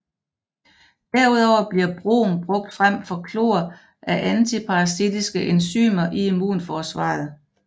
Derudover bliver brom brugt frem for chlor af antiparasitiske enzymer i immunforsvaret